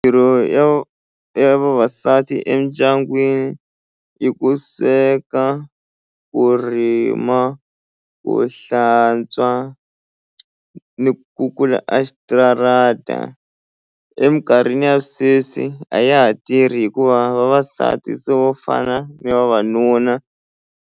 Mitirho ya ya vavasati endyangwini i ku sweka ku rima ku hlantswa ni ku kukula a xitarata eminkarhini ya sweswi a ya ha tirhi hikuva vavasati se vo fana ni vavanuna.